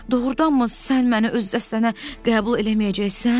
Doğrudanmı sən məni öz dəstənə qəbul eləməyəcəksən?